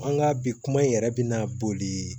An ka bi kuma in yɛrɛ bɛ na boli